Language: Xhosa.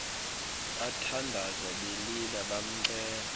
bathandaza belila bamcela